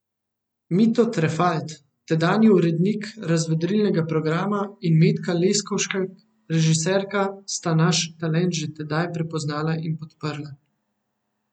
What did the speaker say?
Mito Trefalt, tedanji urednik razvedrilnega programa, in Metka Leskovšek, režiserka, sta naš talent že tedaj prepoznala in podprla.